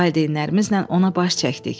Valideynlərimizlə ona baş çəkdik.